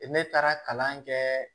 Ne taara kalan kɛ